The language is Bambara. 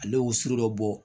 Ale y'o siri dɔ bɔ